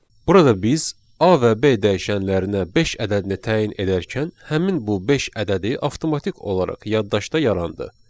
Burada biz A və B dəyişənlərinə beş ədədini təyin edərkən həmin bu beş ədədi avtomatik olaraq yaddaşda yarandı.